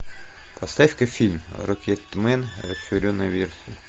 поставь ка фильм рокетмен расширенная версия